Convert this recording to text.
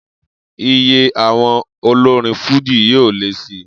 Iye àwọn olorin fújì yóò lé si